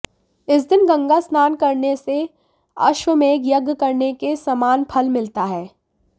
इस दिन गंगा स्नान करने से अश्वमेघ यज्ञ करने के समान फल मिलता है